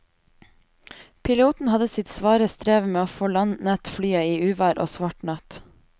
Piloten hadde sitt svare strev med å få landet flyet i uvær og svart natt.